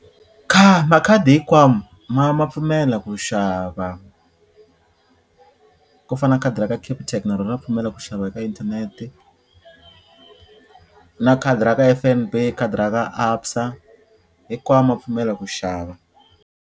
makhadi hinkwawo ma ma pfumela ku xava ku fana na khadi ra ka Capitec na rona ra pfumela ku xava eka internet-i na khadi ra ka F_N_B, khadi ra ka ABSA hikwawo ma pfumela ku xava.